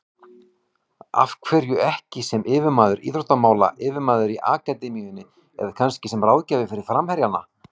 Af hverju ekki sem yfirmaður íþróttamála, yfirmaður í akademíunni eða kannski sem ráðgjafi fyrir framherjana?